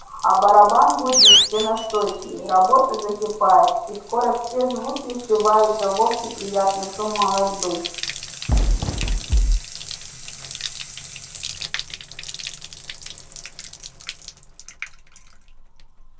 а барабан гудит все настойчивее работа закипает и скоро все звуки сливаются в общий приятный шум молотьбы